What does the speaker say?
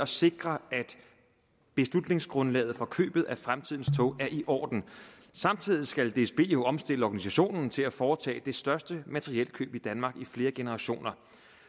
sikre at beslutningsgrundlaget for købet af fremtidens tog er i orden samtidig skal dsb jo omstille organisationen til at foretage det største materielkøb i danmark i flere generationer